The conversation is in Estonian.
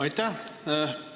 Aitäh!